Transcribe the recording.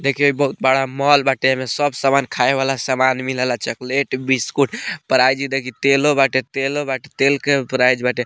देखिए बहुत बड़ा मॉल बाटे एमे सब समान खाए वाला समान मिलेला चॉकलेट बिस्कुट प्राइज देखि तेलों बाटे तेलों बाटे तेल के प्राइज बाटे।